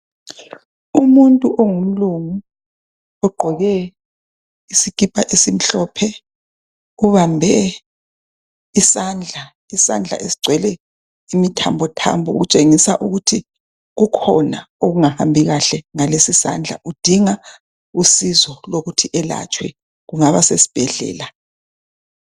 Umuntu ongumlungu ogqoke isikipa esimhlophe ubambe isandla. Isandla esigcwele imithambothambo okutshengisa ukuthi kukhona okungahambi kahle ngalesisandla udinga usizo lokuthi elatshwe kungaba sesibhedlela.